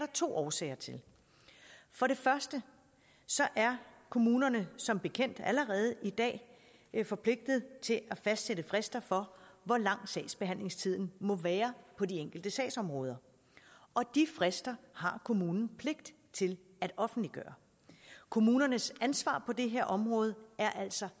to årsager til for det første er kommunerne som bekendt allerede i dag forpligtet til at fastsætte frister for hvor lang sagsbehandlingstiden må være på de enkelte sagsområder og de frister har kommunen pligt til at offentliggøre kommunernes ansvar på det her område er altså